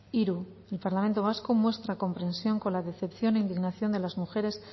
hiru el parlamento vasco muestra comprensión con la decepción e indignación de las mujeres